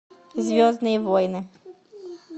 звездные войны